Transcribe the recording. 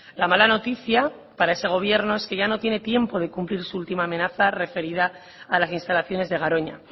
la mala noticia para ese gobierno es que ya no tiene tiempo de cumplir su última amenaza referida a las instalaciones de garoña